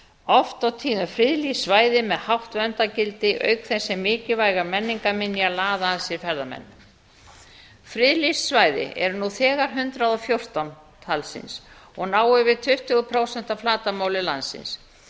oft og tíðum friðlýst svæði með hátt verndargildi auk þess sem mikilvægar menningarminjar laða að sér ferðamenn friðlýst svæði eru nú þegar hundrað og fjórtán talsins og ná yfir tuttugu prósent af flatarmáli landsins